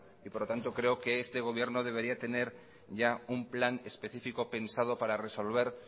por lo tanto creo que este gobierno debería tener ya un plan especifico pensado para resolver